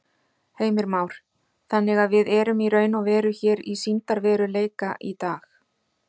Heimir Már: Þannig að við erum í raun og veru hér í sýndarveruleika í dag?